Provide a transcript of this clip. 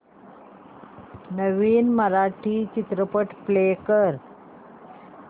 नवीन मराठी चित्रपट प्ले कर